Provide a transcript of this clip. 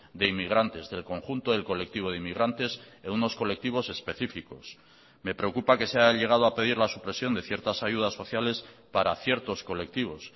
de inmigrantes del conjunto del colectivo de inmigrantes en unos colectivos específicos me preocupa que se ha llegado a pedir la supresión de ciertas ayudas sociales para ciertos colectivos